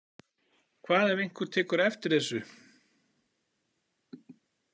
Hvað ef einhver tekur eftir þessu?